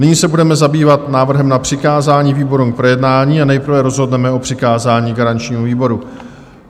Nyní se budeme zabývat návrhem na přikázání výborům k projednání a nejprve rozhodneme o přikázání garančnímu výboru.